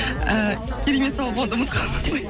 і керемет сауал болғанда